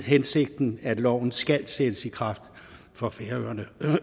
hensigten at loven skal sættes i kraft for færøerne